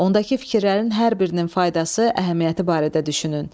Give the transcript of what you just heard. Ondakı fikirlərin hər birinin faydası, əhəmiyyəti barədə düşünün.